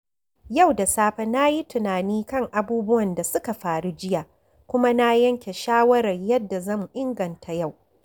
Yau da safe, na yi tunani kan abubuwan da suka faru jiya kuma na yanke shawarar yadda zan inganta yau.